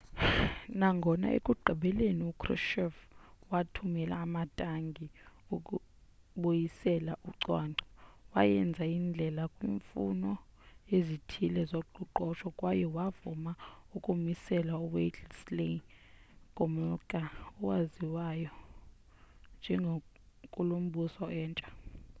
nangona ekugqibeleni ukrushchev wathumela amatanki ukubuyisela ucwangco wayenza indlela kwiimfuno ezithile zoqoqosho kwaye wavuma ukumisela uwladyslaw gomulka owaziwayo njengenkulumbuso entsha